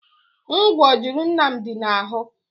Ngwò juru Nnamdi na-ahụ.